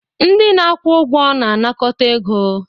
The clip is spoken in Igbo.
Ndị na-akwụ ụgwọ na-anakọta ego.